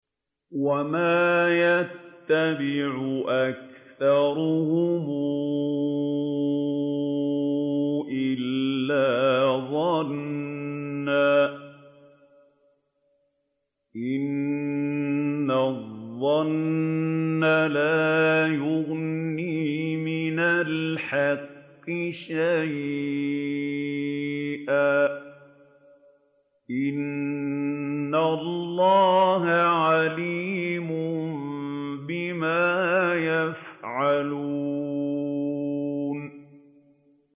وَمَا يَتَّبِعُ أَكْثَرُهُمْ إِلَّا ظَنًّا ۚ إِنَّ الظَّنَّ لَا يُغْنِي مِنَ الْحَقِّ شَيْئًا ۚ إِنَّ اللَّهَ عَلِيمٌ بِمَا يَفْعَلُونَ